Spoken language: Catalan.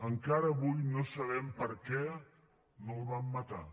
encara avui no sabem per què no el van matar